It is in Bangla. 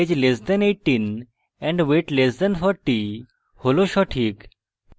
age less than 18 and weight less than 40 হল সঠিক